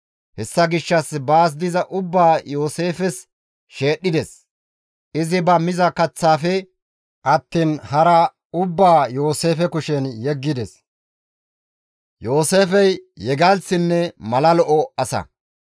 Hessa gishshas baas diza ubbaa Yooseefes sheedhdhides; izi ba miza kaththaafe attiin hara Yooseefe kushen yeggides. Yooseefey yegalththinne mala lo7o asa.